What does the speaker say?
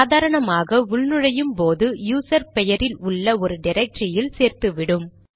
சாதாரணமாக உள் நுழையும் போது யூசர் பெயரில் உள்ள ஒரு டிரக்டரியில் சேர்த்துவிடும்